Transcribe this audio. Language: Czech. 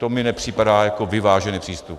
To mi nepřipadá jako vyvážený přístup.